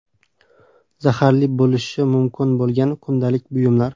Zaharli bo‘lishi mumkin bo‘lgan kundalik buyumlar.